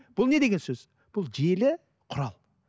бұл нет деген сөз бұл желі құрал